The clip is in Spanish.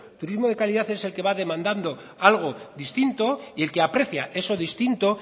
turismo de calidad es el que va demandando algo distinto y el que aprecia eso distinto